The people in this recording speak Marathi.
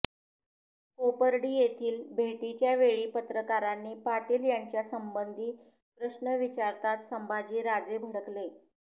कोपर्डी येथील भेटीच्या वेळी पत्रकारांनी पाटील यांच्यासंबंधी प्रश्न विचारताच संभाजीराजे भडकले